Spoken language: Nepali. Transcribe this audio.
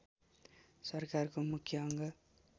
सरकारको मुख्य अङ्ग